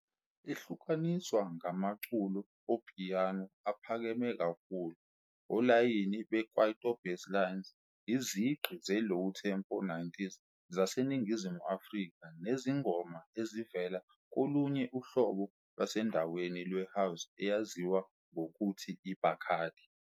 Ihlukaniswa ngamaculo opiyano aphakeme kakhulu, olayini be- Kwaito basslines, izigqi ze-low tempo 90s zaseNingizimu Afrika nezingoma ezivela kolunye uhlobo lwasendaweni lwe-house eyaziwa ngokuthi i- Bacardi.